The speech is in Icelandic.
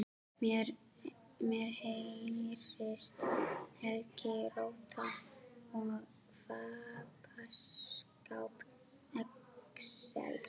Mér heyrist Helgi róta í fataskáp Axels.